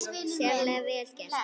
Sérlega vel gert.